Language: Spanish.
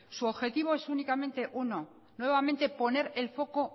su objetivo es únicamente uno nuevamente poner el foco